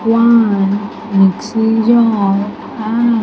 One mixy jar and --